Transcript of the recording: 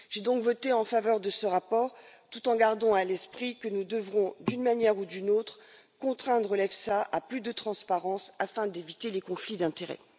J'ai donc voté en faveur de ce rapport tout en gardant à l'esprit que nous devrons, d'une manière ou d'une autre, contraindre l'EFSA à plus de transparence afin d'éviter les conflits d'intérêts.